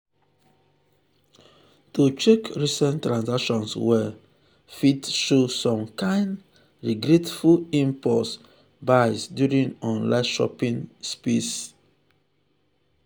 to check recent transactions well fit show some kain regretful impulse buys during online shopping sprees.